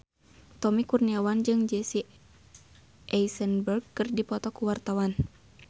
Tommy Kurniawan jeung Jesse Eisenberg keur dipoto ku wartawan